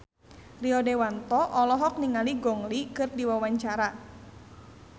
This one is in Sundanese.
Rio Dewanto olohok ningali Gong Li keur diwawancara